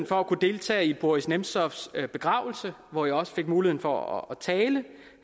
for at deltage i boris nemtsovs begravelse hvor jeg også fik mulighed for at tale